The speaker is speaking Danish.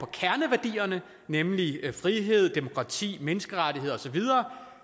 kerneværdierne nemlig frihed demokrati menneskerettigheder og så videre